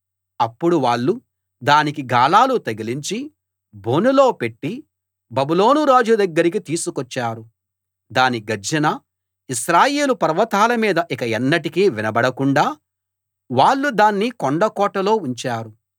అప్పుడు వాళ్ళు దానికి గాలాలు తగిలించి బోనులో పెట్టి బబులోను రాజు దగ్గరికి తీసుకొచ్చారు దాని గర్జన ఇశ్రాయేలు పర్వతాలమీద ఇక ఎన్నటికీ వినబడకుండా వాళ్ళు దాన్ని కొండ కోటలో ఉంచారు